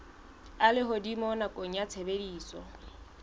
a lehodimo nakong ya tshebediso